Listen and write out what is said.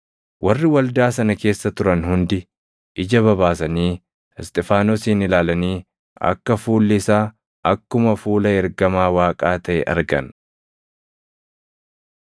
Warri waldaa sana keessa turan hundi ija babaasanii Isxifaanosin ilaalanii akka fuuli isaa akkuma fuula ergamaa Waaqaa taʼe argan.